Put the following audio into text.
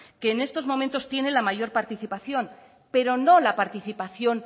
que en estos momentos tiene la mayor participación pero no la participación